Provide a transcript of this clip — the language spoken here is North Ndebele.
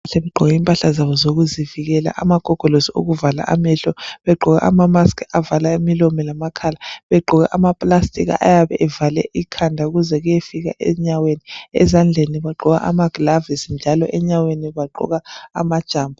Bagqoke kmpahla zabo zokuzivikela. Amagogolosi okuvala amehlo. Begqoke amamask avala imilomo lamakhala. Begqoke amaplastic ayabe evale ikhanda kuze kuyefika enyaweni. Ezandleni bagqoka amagilavisi. Njalo enyaweni bagqoka amajambo.